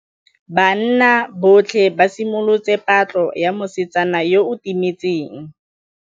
Banna botlhê ba simolotse patlô ya mosetsana yo o timetseng.